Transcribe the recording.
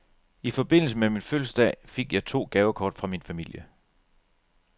I forbindelse med min fødselsdag fik jeg to gavekort fra min familie.